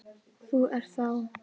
Þú ert þá?